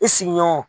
I sigiɲɔgɔnw